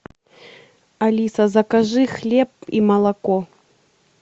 алиса закажи хлеб и молоко